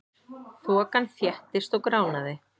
Þokan þéttist og gránaði.